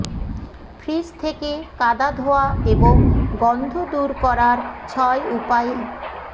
fridge থেকে কাদা ধোয়া এবং গন্ধ দূর করার ছয় উপায়ে